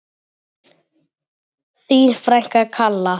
Þín frænka, Kalla.